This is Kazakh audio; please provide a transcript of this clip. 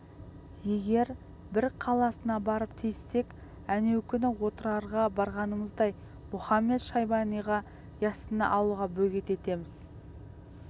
егер бір қаласына барып тиіссек әнеукүнгі отырарға барғанымыздай мұхамед-шайбаниға яссыны алуға бөгет етеміз